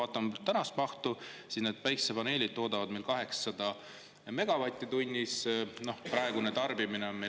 Vaatame praegust mahtu, päikesepaneelid toodavad meil 800 megavatti tunnis, praegune tarbimine on meil …